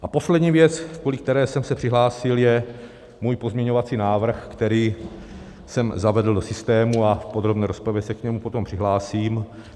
A poslední věc, kvůli které jsem se přihlásil, je můj pozměňovací návrh, který jsem zavedl do systému a v podrobné rozpravě se k němu potom přihlásím.